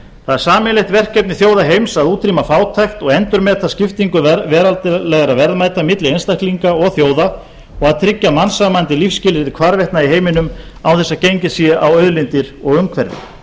það er sameiginlegt verkefni þjóða heims að útrýma fátækt og endurmeta skiptingu veraldlegra verðmæta milli einstaklinga og þjóða og að tryggja mannsæmandi lífsskilyrði hvarvetna í heiminum án þess að gengið sé á auðlindir og umhverfi